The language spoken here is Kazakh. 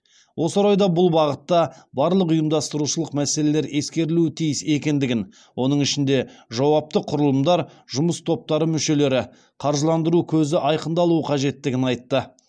осы орайда ол бұл бағытта барлық ұйымдастырушылық мәселелер ескерілуі тиіс екендігін оның ішінде жауапты құрылымдар жұмыс топтары мүшелері қаржыландыру көзі айқындалуы қажеттігін айтты